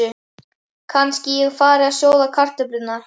Kannski ég fari að sjóða kartöflur.